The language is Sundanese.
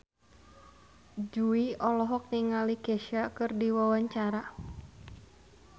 Jui olohok ningali Kesha keur diwawancara